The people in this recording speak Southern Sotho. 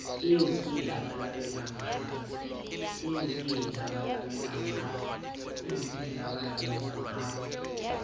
eo ke e labalabelang ha